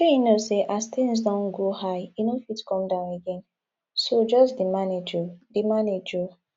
shey you know say as things don go high e no fit come down again so just dey manage oo dey manage oo